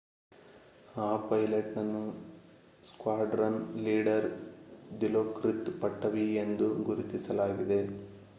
ಆ ಪೈಲಟ್‌ನನ್ನು squadron leader Dilokrit Pattavee ಎಂದು ಗುರುತಿಸಲಾಗಿದೆ